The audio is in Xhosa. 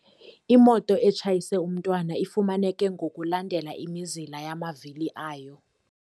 Imoto etshayise umntwana ifumaneke ngokulandela imizila yamavili ayo.